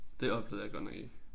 Det opdagede jeg godt nok ikke